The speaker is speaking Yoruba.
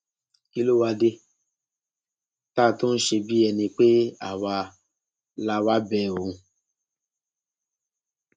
kí ló wáá dé ta tó ń ṣe bíi ẹni pé àwa la wáá bẹ òun